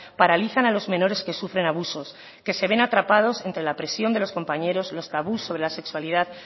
paralizan a los menores que sufren abusos que se ven atrapados entre la presión de los compañeros los tabús sobre la sexualidad